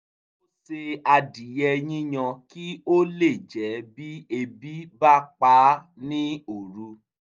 ó se adìyẹ yíyan kí ó lè jẹ́ bí ebi bá pa á ní òru